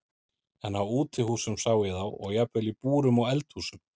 En á útihúsum sá ég þá og jafnvel í búrum og eldhúsum.